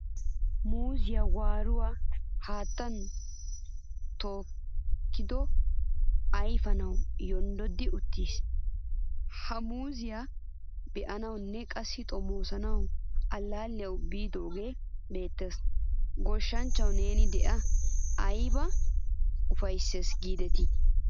Muuziyaa waaruwaa haattan tokiidohe ayfanawu yondodi uttiis. Ha muuziya be'anawunne qassi xomooso allaliyawu biidoge beetteea. Goshshanchchawu neeni dea! Ayba ufayssees giideti.